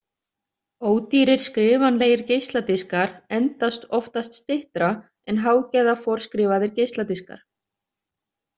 Ódýrir skrifanlegir geisladiskar endast oftast styttra en hágæða forskrifaðir geisladiskar.